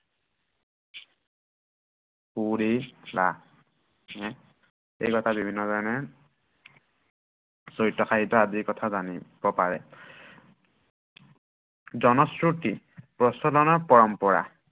এই কথা বিভিন্নজনে চৰিত সাহিত্য়ৰ আদি কথা জানিব পাৰে। জনশ্ৰুতি প্ৰচলনৰ পৰম্পৰা